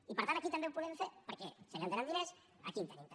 i per tant aquí també ho podem fer perquè si allà tenen diners aquí en tenim també